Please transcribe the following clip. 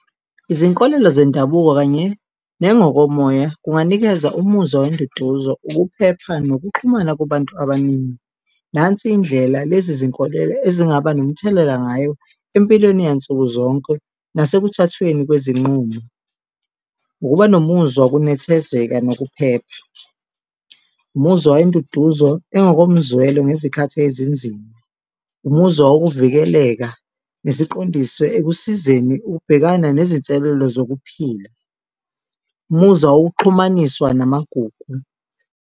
Izinkolelo zendabuko kanye nangokomoya kunganikeza umuzwa wenduduzo, ukuphepha nokuxhumana kubantu abaningi. Nansi indlela lezi zinkolelo ezingaba nomthelela ngayo empilweni yansuku zonke nase kuthathweni kwezinqumo. Ukuba nomuzwa wokunethezeka nokuphepha, umuzwa wenduduzo engokomzwelo ngezikhathi ezinzima, umuzwa wokuvikeleka nesiqondiswe ekusizeni ukubhekana nezinselelo zokuphila, umuzwa wokuxhumaniswa namagugu.